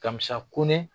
Kamisa ko ne